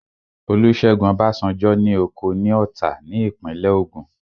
Olúṣẹ́gun Ọbásanjọ́ ní oko ní Ọ̀tà ní ìpínlẹ̀ Ògùn